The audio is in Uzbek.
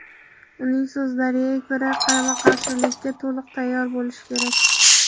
Uning so‘zlariga ko‘ra, qarama-qarshilikka "to‘liq tayyor bo‘lish" kerak.